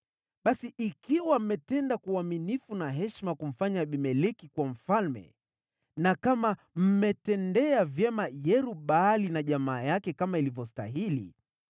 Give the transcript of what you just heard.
“Basi ikiwa mmetenda kwa uaminifu na heshima kumfanya Abimeleki kuwa mfalme, na kama mmetendea vyema Yerub-Baali na jamaa yake kama ilivyostahili: